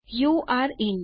you're in